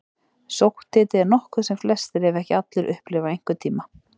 Sótthiti er nokkuð sem flestir, ef ekki allir, upplifa einhvern tíma.